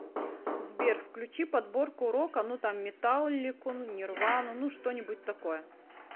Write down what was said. сбер включи подборку рока ну там металлику нирвану ну что нибудь такое